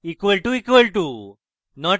== equal to equal to